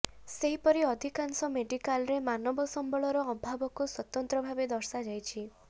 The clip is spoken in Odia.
ସେହିପରି ଅଧିକାଂଶ ମେଡିକାଲରେ ମାନବ ସମ୍ବଳର ଅଭାବକୁ ସ୍ୱତନ୍ତ୍ର ଭାବେ ଦର୍ଶାଯାଇଛି